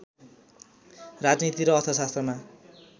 राजनीति र अर्थशास्त्रमा